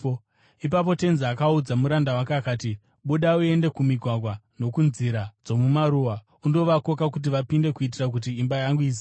“Ipapo tenzi akaudza muranda wake akati, ‘Buda uende kumigwagwa nokunzira dzomumaruwa undovakoka kuti vapinde, kuitira kuti imba yangu izare.